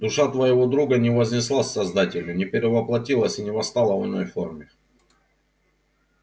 душа твоего друга не вознеслась к создателю не перевоплотилась и не восстала в иной форме